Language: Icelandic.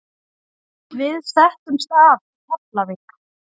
Við settumst að í Keflavík.